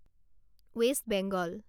west Bengal